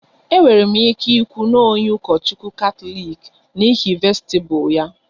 E nwere m ike ikwu n'onye Ukochukwu Katọlik n'ihi vestibu ya